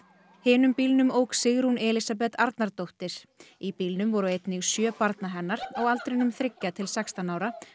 hinum bílnum ók Sigrún Elísabeth Arnardóttir í bílnum voru einnig sjö barna hennar á aldrinum þriggja til sextán ára